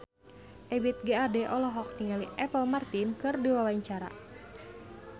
Ebith G. Ade olohok ningali Apple Martin keur diwawancara